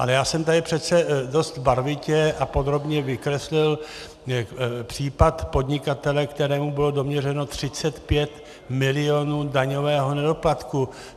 Ale já jsem tady přece dost barvitě a podrobně vykreslil případ podnikatele, kterému bylo doměřeno 35 milionů daňového nedoplatku.